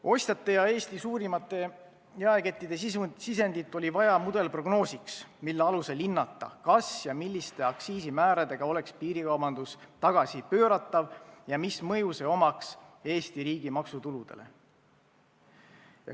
Ostjate ja Eesti suurimate jaekettide sisendit oli vaja mudelprognoosiks, mille alusel hinnata, milliste aktsiisimääradega oleks piirikaubandus tagasipööratav ja kuidas see mõjuks Eesti riigi maksutuludele.